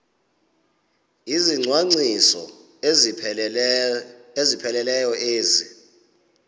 izicwangciso ezipheleleyo ezi